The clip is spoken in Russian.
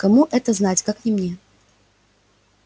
кому это знать как не мне